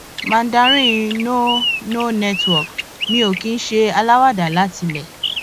mandarin no no network mi ò kì í ṣe aláwàdà látilé